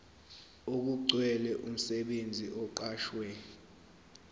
okugcwele umsebenzi oqashwe